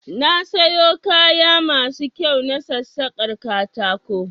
Na sayo kaya masu kyau na sassakar katako